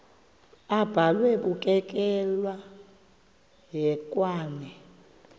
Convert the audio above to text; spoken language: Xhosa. abhalwe bukekela hekwane